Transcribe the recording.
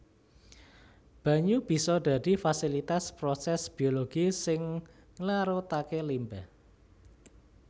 Banyu bisa dadi fasilitas prosès biologi sing nglarutaké limbah